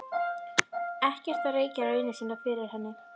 Ekkert að rekja raunir sínar fyrir henni.